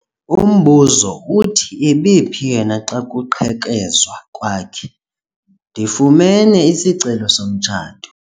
Umbuzo uthi ebephi yena xa kuqhekezwa kwakhe? ndifumene isicelo somtshato